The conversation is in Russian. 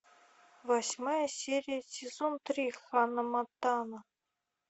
восьмая серия сезон три ханна монтана